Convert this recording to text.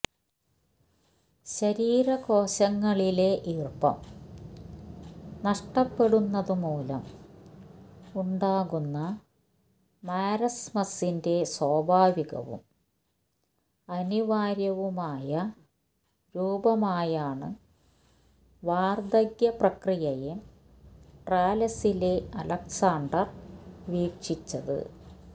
ശരീര കോശങ്ങളിലെ ഈർപ്പം നഷ്ടപ്പെടുന്നതുമൂലം ഉണ്ടാകുന്ന മാരസ്മസ്സിന്റെ സ്വാഭാവികവും അനിവാര്യവുമായ രൂപമായാണ് വാർദ്ധക്യ പ്രക്രിയയെ ട്രാലെസിലെ അലക്സാണ്ടർ വീക്ഷിച്ചത്